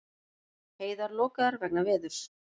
Heiðar lokaðar vegna veðurs